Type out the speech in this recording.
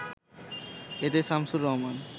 এতে শামছুর রহমান